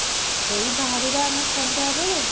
ସେଇ ବାହାରିବା ଆମେ ସନ୍ଧ୍ୟାରେ